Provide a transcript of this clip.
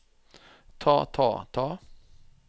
ta ta ta